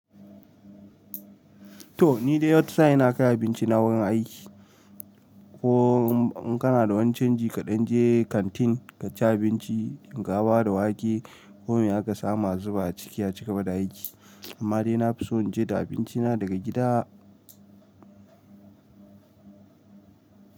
To ni dai wata sa'in ina kai abinci na wurin aiki. Ko in kana da wani can ji kaɗan je kantin ka ci abinci. Shinkafa da wake komai aka samu a zuba a ciki a cigaba da aiki. Amma dai na fi so in je da abinci na daga gida.